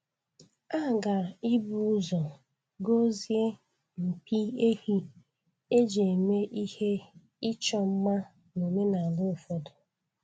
A ga ibu ụzọ gọzie mpi ehi e ji eme ihe ịchọ mma n'omenala ụfọdụ.